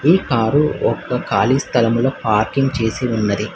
ఈ కార్ ఒక్క ఖాళీ స్థలములో పార్కింగ్ చేసి ఉన్నది.